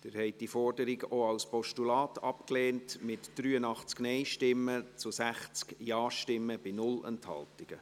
Sie haben diese Forderung auch als Postulat abgelehnt, mit 60 Ja- zu 83 Nein-Stimmen bei keiner Enthaltung.